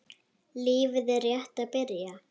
Lífið er rétt að byrja.